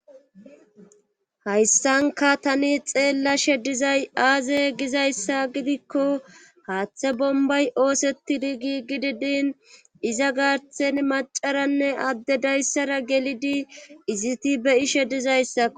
hayssanka tani xeella she dizay aaze gizayssa gidikko haaththe bombay oosettidi gii gidi din iza gaarthen macaranne adde dayssara gelidi iziti beyishe dizayssakko